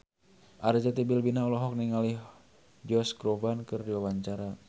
Arzetti Bilbina olohok ningali Josh Groban keur diwawancara